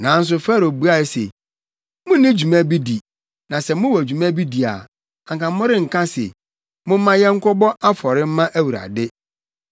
Nanso Farao buae se, “Munni dwuma bi di, na sɛ mowɔ dwuma bi di a, anka morenka se, ‘Momma yɛnkɔbɔ afɔre mma Awurade.’